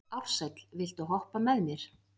Ársæl, viltu hoppa með mér?